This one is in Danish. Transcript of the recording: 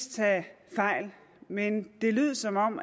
tage fejl men det lød som om